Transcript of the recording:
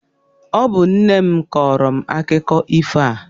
Ọ bụ nne m kọọrọ m akụkọ ifo a.